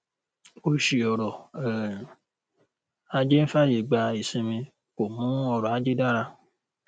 òṣì ọrọ um ajé ń fàyè gba ìsinmi kò mú ọrọ ajé dára